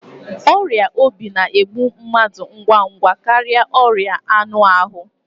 ọrịa obi na-egbu mmadụ ngwa ngwa karịa ọrịa anụ ahụ